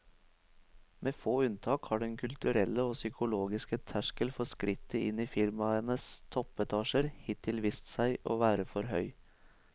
Med få unntak har den kulturelle og psykologiske terskel for skrittet inn i firmaenes toppetasjer hittil vist seg å være for høy.